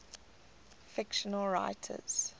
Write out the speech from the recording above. fictional writers